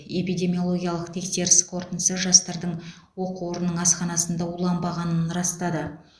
эпидемиологиялық тексеріс қорытындысы жастардың оқу орнының асханасында уланбағанын растады